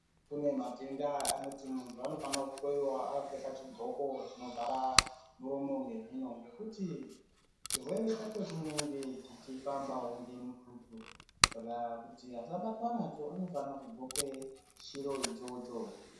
Kune matenda anoti muntu unofanira kuhloiwa akapfeka chidhloko chinovhara muromo ngemhino. Ngekuti chirwere chacho chinenge chichifambavo ngemututu. Saka kuti asabatwa nacho anofanire kudhloke chiro ichocho.